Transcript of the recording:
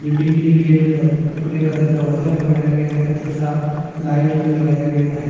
Building के gate पर कपड़े का दरवाजा बनाया गया है तथा लाइट भी लगाया गया है।